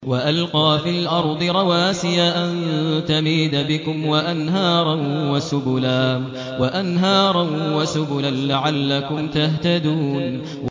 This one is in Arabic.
وَأَلْقَىٰ فِي الْأَرْضِ رَوَاسِيَ أَن تَمِيدَ بِكُمْ وَأَنْهَارًا وَسُبُلًا لَّعَلَّكُمْ تَهْتَدُونَ